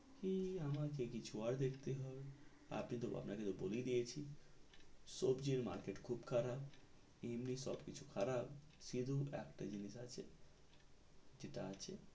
ই আমাকে কিছু ওর দেখতে হবে আপনাকে তো বলেই দিয়েছি সব্জির market খুব খারাপ এমনি সব কিছু খারাপ শুধু একটা জিনিস আসে যেটা আছে